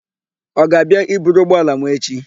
Ọ ga-abịa i buru ụgbọala m echi?